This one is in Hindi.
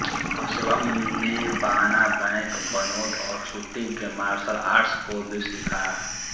असलम ने बाना बैंक बनोट और शूटिंग के मार्शल आर्ट्स को भी सीखा